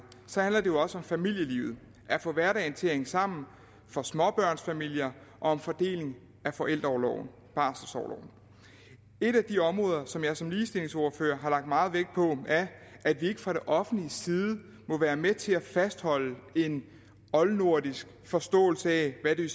handler det jo også om familielivet at få hverdagen til at hænge sammen for småbørnsfamilier og om fordeling af forældreorloven barselsorloven et af de områder som jeg som ligestillingsordfører har lagt meget vægt på er at vi ikke fra det offentliges side må være med til at fastholde en oldnordisk forståelse af hvad det